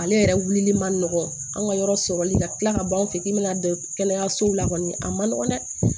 Ale yɛrɛ wulili man nɔgɔ an ka yɔrɔ sɔrɔli ka tila ka ban an fɛ yen k'i bɛna don kɛnɛyasow la kɔni a ma nɔgɔn dɛ